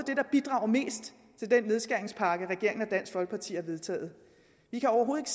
det der bidrager mest til den nedskæringspakke regeringen og dansk folkeparti har vedtaget vi kan overhovedet